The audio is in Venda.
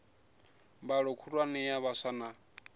mbalo khulwane ya vhaswa na